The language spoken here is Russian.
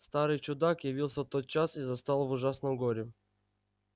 старый чудак явился тотчас и застал в ужасном горе